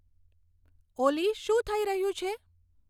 ઓલી શું થઇ રહ્યું છે